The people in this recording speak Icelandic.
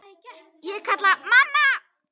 Ég kalla: Mamma!